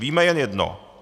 Víme jen jedno.